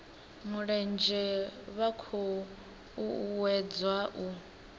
mulenzhe vha khou uuwedzwa u